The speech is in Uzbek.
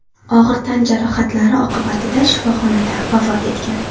og‘ir tan jarohatlari oqibatida shifoxonada vafot etgan.